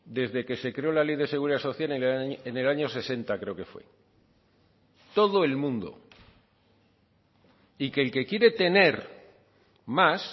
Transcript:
desde que se creó la ley de seguridad social en el año sesenta creo que fue todo el mundo y que el que quiere tener más